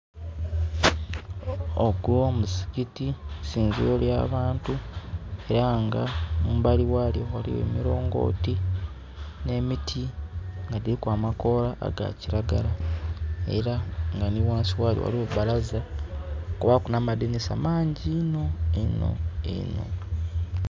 Ogwo muzikiti, isinziro lya bantu, era nga mumbali ghalyo ghaligho emilongoti, n'emiti nga dhiliku amakoola aga kiragala. Era nga nhi ghansi ghalyo ghaligho balaza. Kubaaku n'amadinisa mangi inho inho inho.